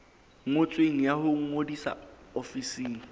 ngotsweng ya ho ngodisa ofising